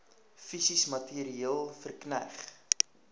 fisies materieel verkneg